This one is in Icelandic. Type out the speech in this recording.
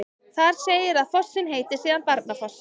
Þar segir að fossinn heiti síðan Barnafoss.